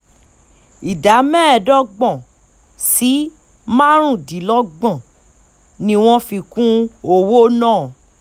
ìdá mẹ́ẹ̀ẹ́dọ́gbọ̀n sí márùndínlọ́gbọ̀n ni wọ́n fi kún owó náà